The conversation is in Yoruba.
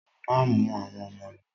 Má mú àwọn ọmọ lo!